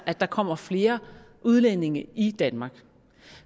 at der kommer flere udlændinge i danmark